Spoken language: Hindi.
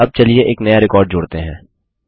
अब चलिए एक नया रिकॉर्ड जोड़ते हैं